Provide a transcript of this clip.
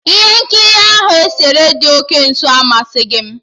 Ihe nkiri ahụ esere dị oke nso amasịghị m